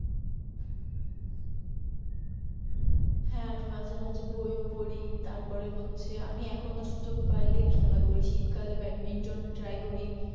হ্যাঁ আমি মাঝে মাঝে বই ও পড়ি তার পরিহচ্ছে আমি এখনো সুযোগ পাই সিট্ কালে ব্যাট মিন্টন trey করি।